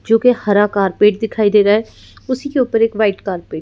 जो कि हरा कारपेट दिखाई दे रहा है उसी के ऊपर एक वाइट कारपट --